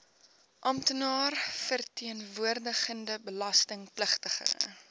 amptenaar verteenwoordigende belastingpligtige